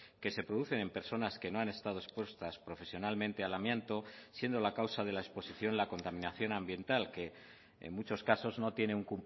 que se producen en personas que no han estado expuestas profesionalmente al amianto siendo la causa de la exposición la contaminación ambiental que en muchos casos no tienen